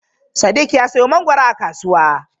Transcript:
Sadiq ya siyo mangwaro a kasuwa.